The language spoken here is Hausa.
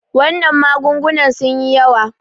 wannan magungunan sun yi yawa